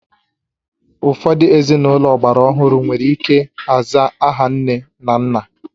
Ụfọdụ ezinụlọ ọgbara ọhụrụ nwere ike aza aha nne na nna